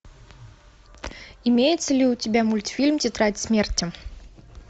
имеется ли у тебя мультфильм тетрадь смерти